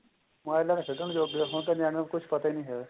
ਮੋਬਾਇਲਾ ਤੇ ਖੇਡਣ ਜੋਗੇ ਏ ਹੁਣ ਤਾਂ ਨਿਆਣਿਆ ਨੂੰ ਕੁੱਝ ਪਤਾ ਨੀਂ ਹੈਗਾ